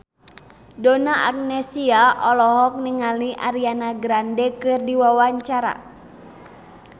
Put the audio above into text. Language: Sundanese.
Donna Agnesia olohok ningali Ariana Grande keur diwawancara